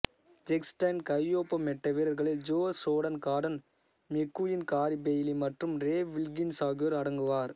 செக்ஸ்டன் கையொப்பமிட்ட வீரர்களில் Joe Jordan Gordon McQueen Gary Bailey மற்றும் ரே வில்கின்ஸ் ஆகியோர் அடங்குவர்